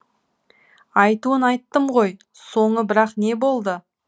айтуын айттым ғой соңы бірақ не болды